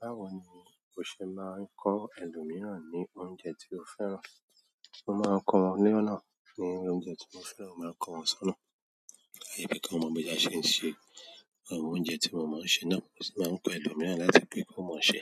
Báwo ni o ṣe máa ń kọ́ ẹlòmíràn ní oúnjẹ tí o fẹ́ràn? Mo máa ń kọ́ wọn ni ónà ní oúnjẹ tí mo fẹ́ràn, mo máa ń kọ́ wọn sọ́nà, pẹ́ bi kí wọ́n mọ bí a ṣe ń ṣe. Àwọn oúnjẹ tí mo máa ń ṣe náà, mo sì máa ń kọ́ ẹlòmíràn láti pe ko mọ́n ṣe.